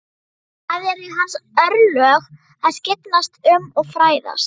Það eru hans örlög að skyggnast um og fræðast.